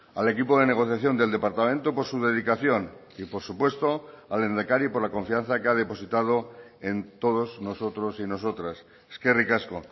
al equipo de negociación del departamento por su dedicación y por supuesto al lehendakari por la confianza que ha depositado en todos nosotros y nosotras eskerrik asko